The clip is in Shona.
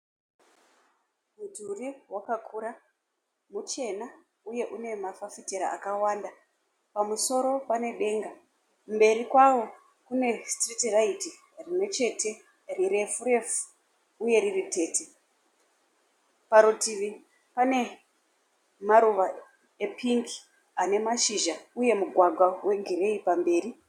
Mudhuri wakakura muchena uye une mafafitera akawanda. Pamusoro pane denga. Mberi kwavo kune sitiriti raiti rimwe chete rirefu refu uye riri tete. Parutivi pane maruva epingi ane mashizha uye mugwagwa wegireyi pamberi.